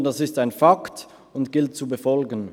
Vielmehr ist dies ein Fakt, und es gilt ihn zu befolgen.